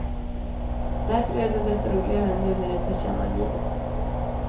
Därför är det desto roligare nu när det tillkännagivits.